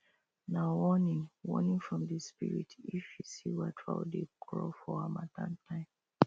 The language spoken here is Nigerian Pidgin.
nah warning warning from the spirit if you see white fowl dey crow for harmattan time